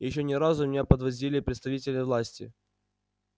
ещё ни разу меня меня подвозили представители власти